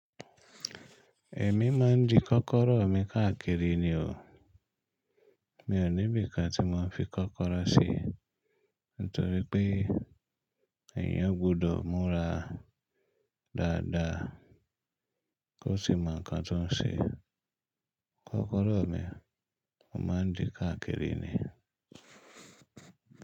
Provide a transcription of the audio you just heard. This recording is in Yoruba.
Ẹ̀mí máa ń di kọ́kọ́rọ́ mi káàkiri ni o. Mi ò ní bí i ká tí mo máa ń fi kọ́kọ́rọ́ ṣe, nítorí pé èèyàn gbọ́dọ̀ múra dáadáa kó sì mọ nǹkan tó ń ṣe. Kọ́kọ́rọ́ mi, mo máa ń dì káàkiri ni.